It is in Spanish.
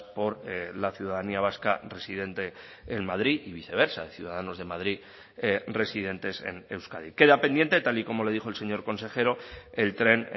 por la ciudadanía vasca residente en madrid y viceversa de ciudadanos de madrid residentes en euskadi queda pendiente tal y como le dijo el señor consejero el tren